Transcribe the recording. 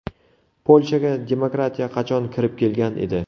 Polshaga demokratiya qachon kirib kelgan edi?